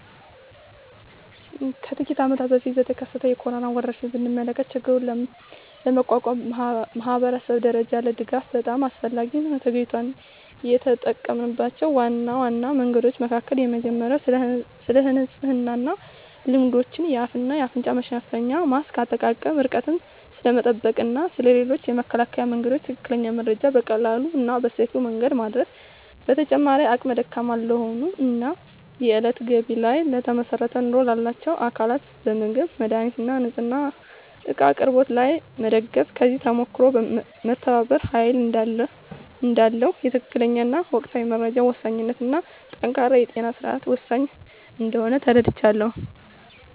ከጥቂት አመታት በፊት የተከሰተውን የኮሮና ወረርሽኝ ብንመለከ ችግሩን ለመቋቋም ማኅበረሰብ ደረጃ ያለ ድጋፍ በጣም አስፈላጊ ሆኖ ተገኝቷል። የተጠምናቸው ዋና ዋና መንገዶች መካከል የመጀመሪያው ስለንጽህና ልማዶች፣ የአፍ እና አፍንጫ መሸፈኛ ማስክ አጠቃቀም፣ ርቀትን ስለመጠበቅ እና ስለ ሌሎችም የመከላከያ መንገዶች ትክክለኛ መረጃ በቀላሉ እና በሰፊው መንገድ ማዳረስ። በተጨማሪም አቅመ ደካማ ለሆኑ እና የእለት ገቢ ላይ ለተመሰረተ ኑሮ ላላቸው አካላት በምግብ፣ መድሃኒት እና ንፅህና እቃ አቅርቦት ላይ መደገፍ። ከዚህ ተሞክሮም መተባበር ኃይል እዳለው፣ የትክክለኛ እና ወቅታዊ መረጃ ወሳኝነት እና ጠንካራ የጤና ስርዓት ወሳኝ እንደሆነ ተረድቻለሁ።